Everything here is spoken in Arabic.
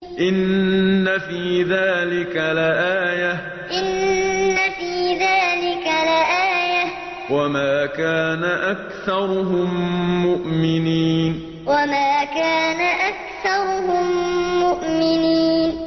إِنَّ فِي ذَٰلِكَ لَآيَةً ۖ وَمَا كَانَ أَكْثَرُهُم مُّؤْمِنِينَ إِنَّ فِي ذَٰلِكَ لَآيَةً ۖ وَمَا كَانَ أَكْثَرُهُم مُّؤْمِنِينَ